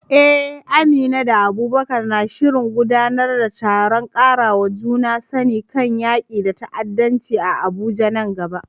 Eh, Amina da Abubakar na shirin gudanar da taron ƙarawa juna sani kan yaƙi da ta’addanci a Abuja nan gaba.